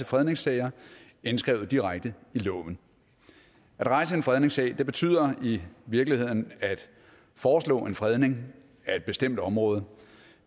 fredningssager indskrevet direkte i loven at rejse en fredningssag betyder i virkeligheden at foreslå en fredning af et bestemt område